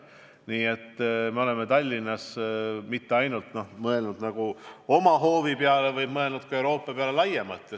Nii et me oleme Tallinnas mõelnud mitte ainult oma hoovi peale, vaid mõelnud Euroopa peale laiemalt.